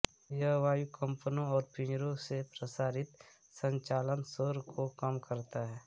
यह वायु कम्पनों और पिंजरे से प्रसारित संचालन शोर को कम करता है